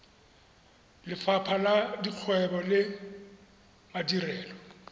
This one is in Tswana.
lefapha la dikgwebo le madirelo